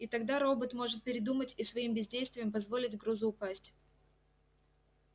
и тогда робот может передумать и своим бездействием позволить грузу упасть